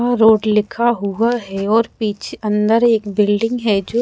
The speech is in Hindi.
वह रोड़ लिखा हुआ है और पीछे अंदर एक बिल्डिंग है जो --